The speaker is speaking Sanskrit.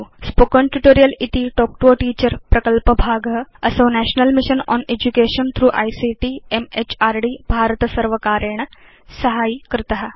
स्पोकेन ट्यूटोरियल् इति तल्क् तो a टीचर प्रकल्पभाग असौ national mission on education through ICT म्हृद् भारतसर्वकारेण साहाय्यीकृत